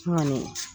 N kɔni